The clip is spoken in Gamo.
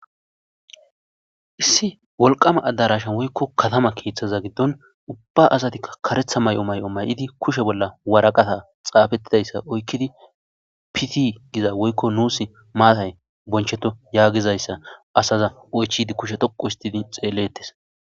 Issi wolqama adarasha woyko katama kethaza gidon ubba asatika karetha mayo mayid kushe bolla waraqata xafetidaysa oykid fit giza woyko nusi matay boncheto yagizaysa asaza oychide kusha dholqu histid xeletes.